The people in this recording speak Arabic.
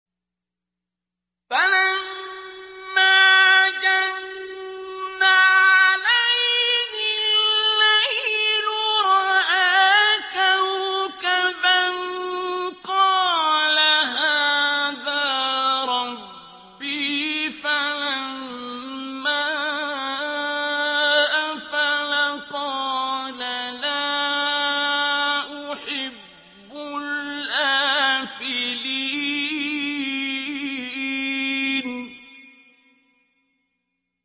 فَلَمَّا جَنَّ عَلَيْهِ اللَّيْلُ رَأَىٰ كَوْكَبًا ۖ قَالَ هَٰذَا رَبِّي ۖ فَلَمَّا أَفَلَ قَالَ لَا أُحِبُّ الْآفِلِينَ